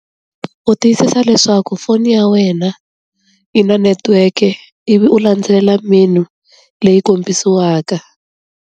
U tiyisisa leswaku foni ya wena yi na netiweke ivi u landzelela menu leyi kombisiwaka.